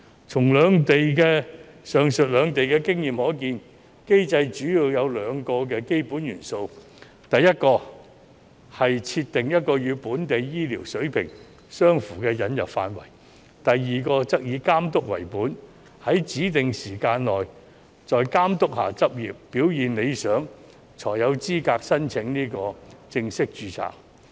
從上述兩地的經驗可見，機制主要有兩個基本元素：第一是設定一個與本地醫療水平相符的引入範圍；第二則以監督為本，在指定時間內須在監督下執業，表現理想才有資格申請正式註冊。